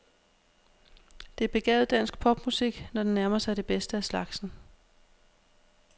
Det er begavet dansk popmusik, når den nærmer sig det bedste af slagsen.